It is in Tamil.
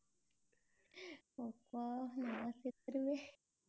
அப்பா நான் செத்துருவேன்.